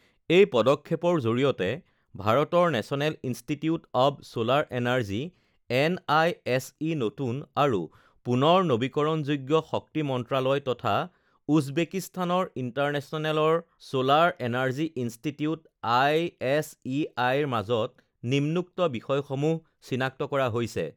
এই পদক্ষেপৰ জৰিয়তে ভাৰতৰ national institute of solar energy N I S E, নতুন আৰু পুনৰ নৱীকৰণযোগ্য শক্তি মন্ত্ৰালয় তথা উজবেকিস্তানৰ ইণ্টাৰনেচনেলৰ ছলাৰ এনাৰ্জী ইনষ্টিটিউট আইএছইআইৰ মাজত নিম্নোক্ত বিষয়সমূহ চিনাক্ত কৰা হৈছেঃ